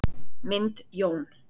Mynd Jón